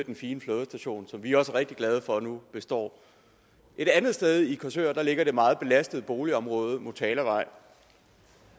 den fine flådestation som vi også er rigtig glade for nu består et andet sted i korsør ligger det meget belastede boligområde motalavej